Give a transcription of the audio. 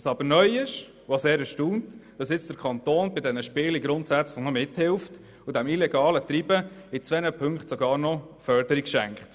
Was aber neu ist und auch sehr erstaunt, ist, dass nun der Kanton bei diesen Spielen noch mithilft und diesem illegalen Treiben in zwei Punkten sogar noch Förderung schenkt.